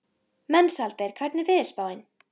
Mensalder, hvernig er veðurspáin?